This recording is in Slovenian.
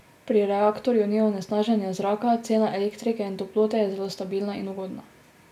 Pri reaktorju ni onesnaženja zraka, cena elektrike in toplote je zelo stabilna in ugodna.